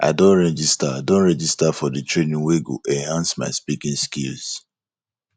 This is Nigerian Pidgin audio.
i don register i don register for di training wey go enhance my speaking skills